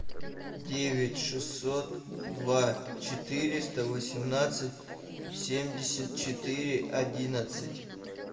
девять шестьсот два четыреста восемнадцать семьдесят четыре одиннадцать